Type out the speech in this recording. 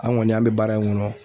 An kɔni an bɛ baara in kɔnɔ